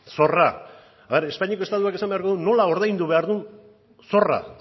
zorra espainiako estatuak esan beharko du nola ordaindu behar duen zorra